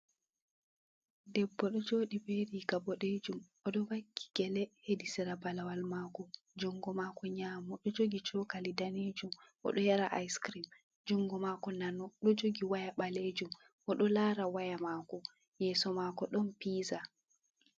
Debbo ɗo joɗi bee riga boɗejum, o ɗo vakki gele, hedi sira balawal mako, jungo mako nyamo ɗo jogi cokali danejum, o ɗo yara ice kirim, jungo mako nano ɗo jogi waya balejum, o ɗo lara waya mako, yeso mako ɗon piza.